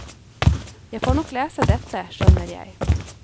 Jeg får nok lese dette, skjønner jeg.